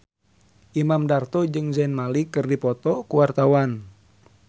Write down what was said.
Imam Darto jeung Zayn Malik keur dipoto ku wartawan